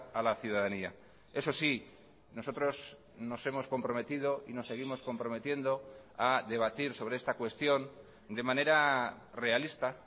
a la ciudadanía eso sí nosotros nos hemos comprometido y nos seguimos comprometiendo a debatir sobre esta cuestión de manera realista